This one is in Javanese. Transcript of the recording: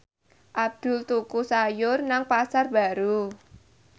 Abdul tuku sayur nang Pasar Baru